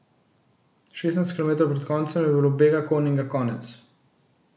Šestnajst kilometrov pred koncem je bilo bega Koninga konec.